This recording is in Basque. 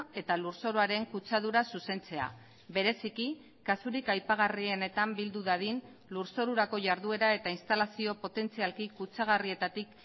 eta lurzoruaren kutsadura zuzentzea bereziki kasurik aipagarrienetan bildu dadin lurzorurako jarduera eta instalazio potentzialki kutsagarrietatik